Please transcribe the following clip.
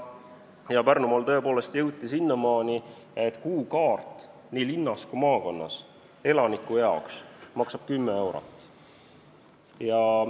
Ja Pärnumaal tõepoolest jõuti sinnamaani, et nii linna kui ka maakonna elaniku kuukaart maksab 10 eurot.